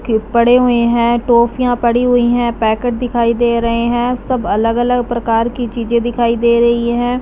के पड़े हुए हैं टॉफियां पड़ी हुई हैं पैकेट दिखाई दे रहे हैं सब अलग अलग प्रकार की चीजें दिखाई दे रही हैं।